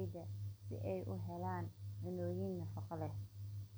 jidhka, yareynaya fatahaadda, xoojinayo dharkaga.